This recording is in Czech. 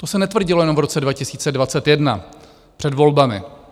To se netvrdilo jenom v roce 2021 před volbami.